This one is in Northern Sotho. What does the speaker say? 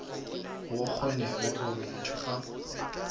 go kgonege gore motho a